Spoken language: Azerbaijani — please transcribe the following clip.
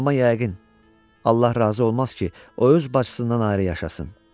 Amma yəqin Allah razı olmaz ki, o öz bacısından ayrı yaşasın.